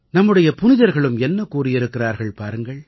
நம்முடைய புனிதர்களும் என்ன கூறியிருக்கிறார்கள் பாருங்கள்